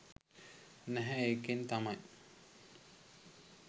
නැහැ ඒකෙන් තමයි